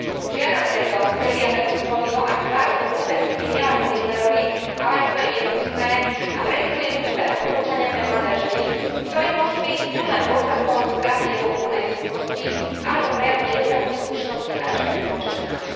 Žiadam preto Silvia Berlusconiho, aby zvážil hlúpe vtipy nielen o Hitlerovi, ale aj svoje nevkusné a, prepytujem, hlúpe odporúčania pre mladé ženy, ktoré môžu byť buď len dôsledkom straty jeho úplnej súdnosti, alebo prejavom nedostatku slušnosti a rešpektu voči ženám.